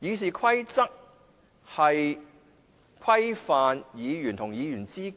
《議事規則》旨在規範議員與主席